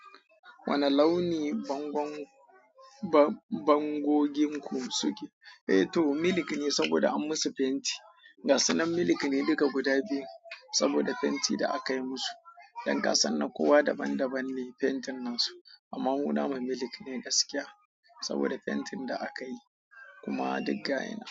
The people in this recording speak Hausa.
Wani launi bangogin ku suke? Eh to milk ne saboda an musu fenti. Gasunan milk ne duka guda biyu saboda fentin da aka yi musu. Dankansan na kowa daban daban ne fentin na su. Amma mu na mu milk ne gaskiya saboda fentin da aka yi kuma digga yina.